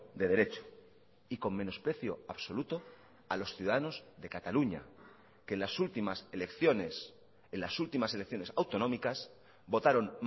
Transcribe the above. de derecho y con menosprecio absoluto a los ciudadanos de cataluña que las últimas elecciones en las últimas elecciones autonómicas votaron